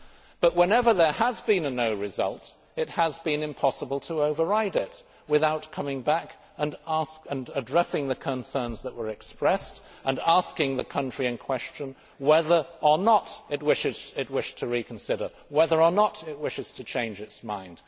But whenever there has been a no' result, it has been impossible to override it without coming back and addressing the concerns that were expressed and asking the country in question whether or not it wished to reconsider whether or not it wished to change its mind.